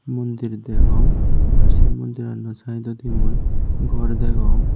mundir degong ar se mundirano saidodi mui gor degong.